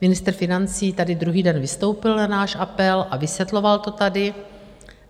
Ministr financí tady druhý den vystoupil na náš apel a vysvětloval to tady.